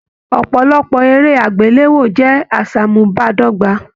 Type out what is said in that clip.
Ọpọlọpọ eré agbelewo jẹ aṣamubadọgba.